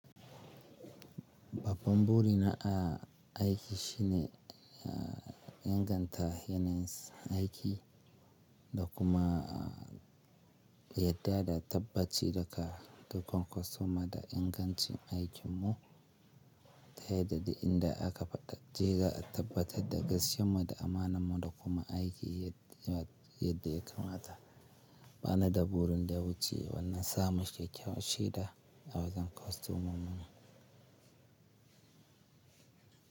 Babban buri na a aiki shine, inganta yanayin aiki da kuma yadda da tabbaci daka, da kan kwastoma da ingancin aikin mu, ta yadda duk inda aka faɗa--ji, za'a tabbatar da gaskiyan mu da amanan mu da kuma aiki yad-- yadda ya kamata. Ba na da burin da ya wuce wannan, samun kyakkyawar she da, a wajen kwastomomin mu.